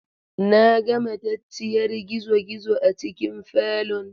Na ga matacciyar gizogizo a cikin falon.